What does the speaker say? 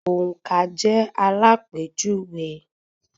Òǹkà jẹ́ àlápéjùwe.